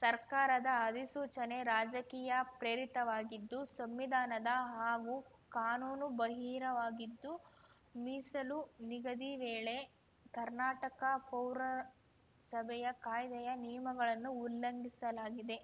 ಸರ್ಕಾರದ ಅಧಿಸೂಚನೆ ರಾಜಕೀಯ ಪ್ರೇರಿತವಾಗಿದ್ದು ಸಂವಿಧಾನ ಹಾಗೂ ಕಾನೂನು ಬಹಿರವಾಗಿದ್ದು ಮೀಸಲು ನಿಗದಿ ವೇಳೆ ಕರ್ನಾಟಕ ಪೌರ ಸಭೆಯ ಕಾಯ್ದೆಯ ನಿಯಮಗಳನ್ನು ಉಲ್ಲಂಘಿಸಲಾಗಿದೆ